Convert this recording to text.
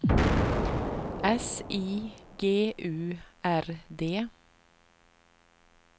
S I G U R D